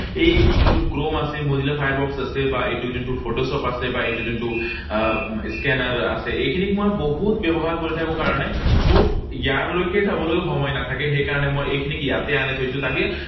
এই যোনটো chrome আছে, বা mozilla Firefox আছে, বা এইটো যোনটো photoshop আছে, বা এইটো যোনটো আহ scanner আছে, এইখিনি মই বহুত ব্যৱহাৰ কৰি থাকো কাৰণে মোৰ ইয়াৰলৈকে যাবলৈও সময় নাথাকে। সেইকাৰণে মই এইখিনিক ইয়াতে আনি থৈছোঁ তাকে